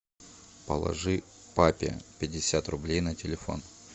положи папе пятьдесят рублей на телефон